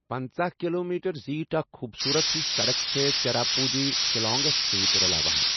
پنژہَ kilometre زیٖٹھ اَکھ خوٗبصوٗرت ہِش سَڑک چھےٚ چیراپُونٛجی شِلانگس سۭتۍ رَلاوان ۔